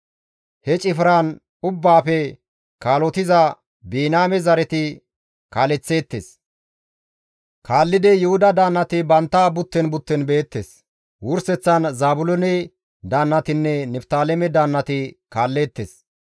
He cifran ubbaafe kaalotiza Biniyaame zareti kaaleththeettes. Kaallidi Yuhuda daannati bantta butten butten beettes; wurseththan Zaabiloone daannatinne Niftaaleme daannati kaalleettes.